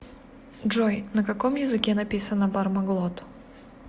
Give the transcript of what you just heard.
джой на каком языке написано бармаглот